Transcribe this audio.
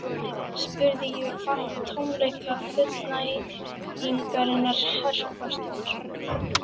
spurði ég og fann tómleika fullnægingarinnar herpast að mér.